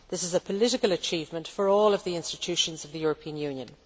This is a political achievement for all of the institutions of the European Union.